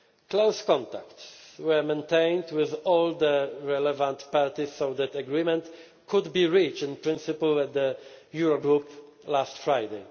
happen. Close contacts were maintained with all the relevant parties so that agreement could be reached in principle at the Eurogroup last